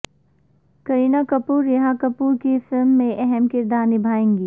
کرینہ کپور ریحا کپور کی فلم میں اہم کردار نبھائیں گی